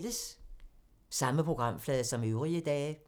Samme programflade som øvrige dage